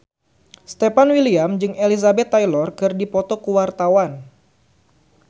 Stefan William jeung Elizabeth Taylor keur dipoto ku wartawan